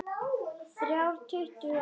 Þrjá tuttugu og fimm